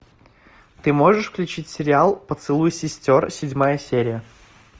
ты можешь включить сериал поцелуй сестер седьмая серия